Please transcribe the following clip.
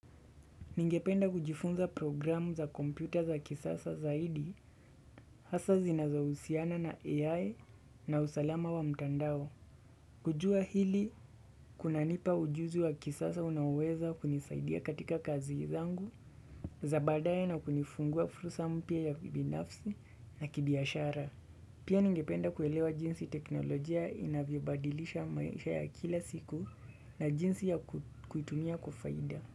Ningependa kujifunza programu za kompyuta za kisasa zaidi, hasa zinazowusiana na AI na usalama wa mtandao. Kujua hili, kunanipa ujuzi wa kisasa unaoweza kunisaidia katika kazi zangu, za baadaye na kunifungua fursa mpya ya kibinafsi na kibiashara. Pia ningependa kuelewa jinsi teknolojia inavyobadilisha maisha ya kila siku na jinsi ya kuitumia kwa faida.